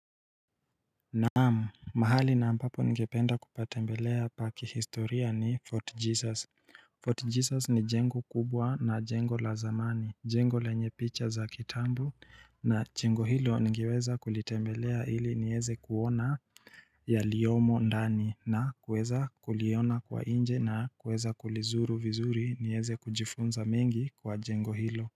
Naamu mahali na ampapo ngependa kupatembelea pa kihistoria ni Fort Jesus Fort Jesus ni jengo kubwa na jengo la zamani jengo lenye picha za kitambo na chengo hilo ngeweza kulitembelea hili nieze kuona yaliyomo ndani na kuweza kuliona kwa inje na kuweza kulizuru vizuri nieze kujifunza mengi kwa jengo hilo.